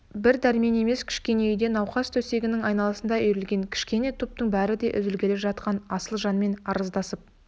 бір дәрмен емес кішкене үйде науқас төсегінің айналасына үйірілген кішкене топтың бәрі де үзілгелі жатқан асыл жанмен арыздасып